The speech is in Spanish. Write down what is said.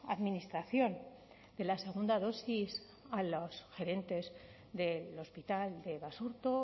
administración de la segunda dosis a los gerentes del hospital de basurto